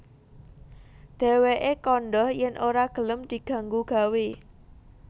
Dhèwèké kandha yèn ora gelem diganggu gawé